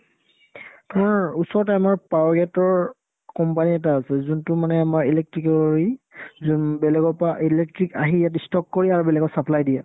তোমাৰ ওচৰতে আমাৰ power gate ৰ company এটা আছে যোনটো মানে আমাৰ electric ৰ ই যোন বেলেগৰ পৰা electric আহি ইয়াতে stock কৰি আৰু বেলেগত supply দিয়ে